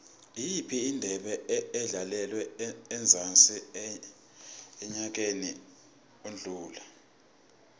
iyiphi indebe edlalelwe emzansi enyakeni odlule